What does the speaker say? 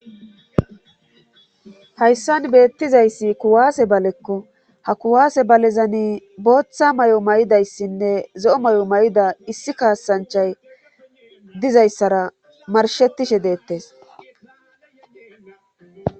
hayssan beettizayssi kuwaase balekko ha kuwaase balezani booththa may7o may7idayssinne zo7o may7o may7ida issi kaasanchay dizayssara marshettishe deettes